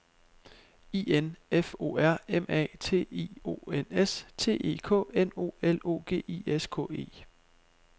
I N F O R M A T I O N S T E K N O L O G I S K E